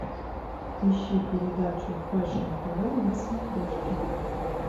ищи передачу фэшн тв на смотрешке